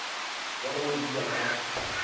ba go di ja ka